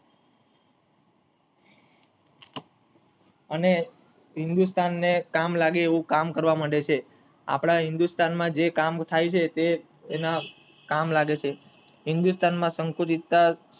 અને હિંદુસ્થાન ને કામ લાગે એવું કામ કરવા માંડે છે આપડા હિંદુસ્થાન માં જે કામ થાય છે તે એના કામ લાગે છે હિન્દુસ્તાન માં સંકુચિતતા